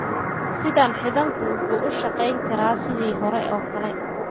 Sidan, xiidanku wuxuu u shaqayn karaa sidii hore oo kale.